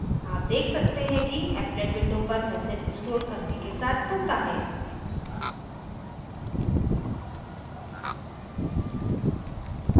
आप देख सकते हैं कि applet window पर message स्क्रोल करने के साथ खुलता है